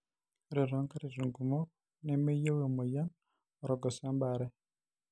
ore to nkatitin kumok nemeyieu emoyian orgoso ebaare